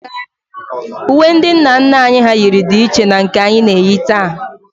Uwe ndị nna nna anyị hà yiri dị iche na nke anyị na-eyi taa